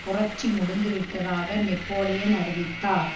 புரட்சி முடிந்து விட்டதாக நெப்போலியன் அறிவித்தார்